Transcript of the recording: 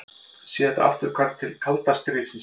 Þetta sé afturhvarf til kalda stríðsins